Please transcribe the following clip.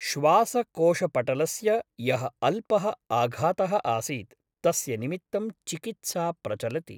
श्वासकोशपटलस्य यः अल्पः आघातः आसीत् तस्य निमित्तं चिकित्सा प्रचलति ।